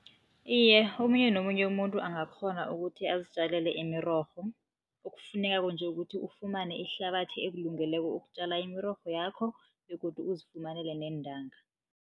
Iye, omunye nomunye umuntu angakghona ukuthi azitjalele imirorho, okufunekako nje ukuthi ufumane ihlabathi ekulungeleko ukutjala imirorho yakho begodu uzifumanele neentanga.